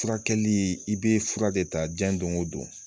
Furakɛli i bɛ fura de ta diɲɛ don o don